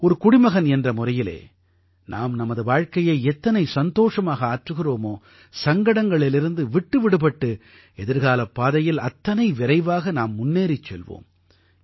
ஒரு குடிமகன் என்ற முறையிலே நாம் நமது வாழ்க்கையை எத்தனை சந்தோஷமாக ஆற்றுகிறோமோ சங்கடங்களிலிருந்து விட்டு விடுபட்டு எதிர்காலப் பாதையில் அத்தனை விரைவாக நாம் முன்னேறிச் செல்வோம்